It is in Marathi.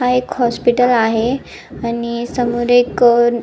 हा एक हॉस्पिटल आहे आणि समोर एक अ --